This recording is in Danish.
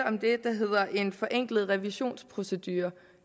om det der hedder en forenklet revisionsprocedure